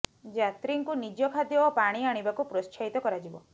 ଯାତ୍ରୀଙ୍କୁ ନିଜ ଖାଦ୍ୟ ଓ ପାଣି ଆଣିବାକୁ ପ୍ରତ୍ସୋହିତ କରାଯିବ